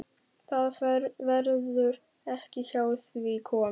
Það verður ekki hjá því komist.